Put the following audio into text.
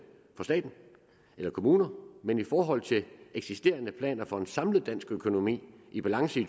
for staten eller kommuner men i forhold til eksisterende planer for en samlet dansk økonomi i balance i